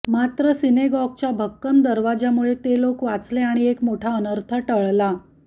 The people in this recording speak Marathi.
मात्र सिनेगॉगच्या भक्कम दरवाजामुळे ते लोक वाचले आणि एक मोठा अनर्थ टळला